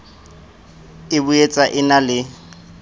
e boetsa e na le